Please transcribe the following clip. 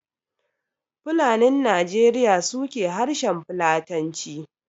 Fulanin Najeriya su ke harshen Fulatanci